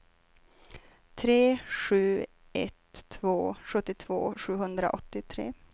tre sju ett två sjuttiotvå sjuhundraåttiotre